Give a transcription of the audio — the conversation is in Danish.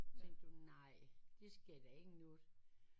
Så tænkte du nej der sker da ikke noget